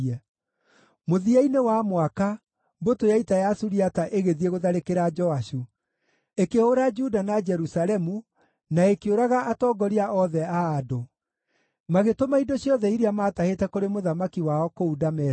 Mũthia-inĩ wa mwaka, mbũtũ ya ita ya Suriata ĩgĩthiĩ gũtharĩkĩra Joashu; ĩkĩhũũra Juda na Jerusalemu, na ĩkĩũraga atongoria othe a andũ. Magĩtũma indo ciothe iria maatahĩte kũrĩ mũthamaki wao kũu Dameski.